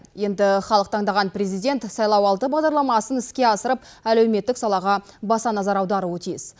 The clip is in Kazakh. енді халық таңдаған президент сайлауалды бағдарламасын іске асырып әлеуметтік салаға баса назар аударуы тиіс